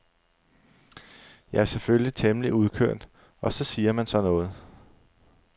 Jeg er selvfølgelig temmelig udkørt og så siger man sådan noget.